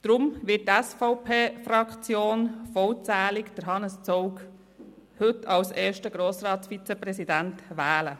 Darum wird die SVP-Fraktion heute vollzählig Hannes Zaugg zum ersten Grossratsvizepräsidenten wählen.